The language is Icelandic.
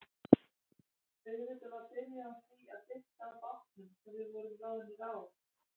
Auðvitað var byrjað á því að dytta að bátnum sem við vorum ráðnir á.